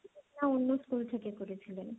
না অন্য স্কুল থেকে করেছিলেন।